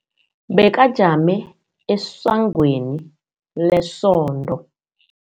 Bekajame esangweni lesonto.